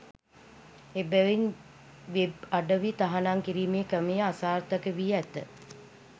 එබැවින් වෙබ් අඩවි තහනම් කිරීමේ ක්‍රමය අසාර්ථකවී ඇත